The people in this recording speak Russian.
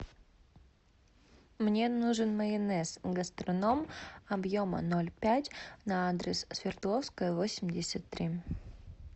мне нужен майонез гастроном объема ноль пять на адрес свердловская восемьдесят три